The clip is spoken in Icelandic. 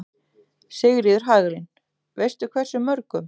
Sigríður Hagalín: Veistu hversu mörgum?